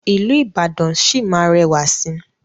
ilú Ìbàdàn sí má rẹwà sí.